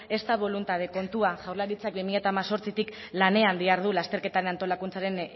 ez da boluntade kontua jaurlaritzak bi mila hemezortzitik lanean dihardu lasterketaren antolakuntzaren